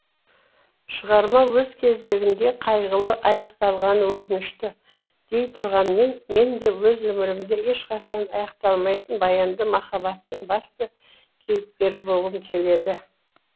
шығарма өз кезегінде қайғылы аяқталғаны өкінішті дейтұрғанмен менде өз өмірімде ешқашан аяқталмайтын баянды махаббаттың басты кейіпкері болғым келеді